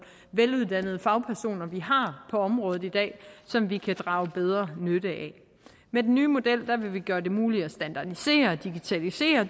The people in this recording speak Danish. veluddannede fagpersoner vi har på området i dag som vi kan drage bedre nytte af med den nye model vil vi gøre det muligt at standardisere at digitalisere